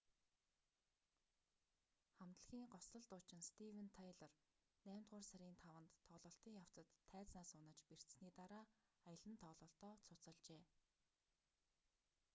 хамтлагийн гоцлол дуучин стивен тайлор наймдугаар сарын 5-нд тоглолтын явцад тайзнаас унаж бэртсэний дараа аялан тоглолтоо цуцалжээ